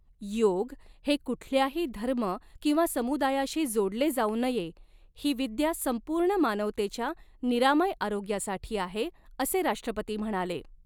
योग हे कुठल्याही धर्म किंवा समुदायाशी जोड़ले जाऊ नये, ही विद्या संपूर्ण मानवतेच्या निरामय आरोग्यासाठी आहे, असे राष्ट्रपती म्हणाले.